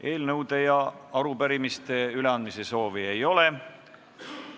Eelnõude ja arupärimiste üleandmise soovi ei ole.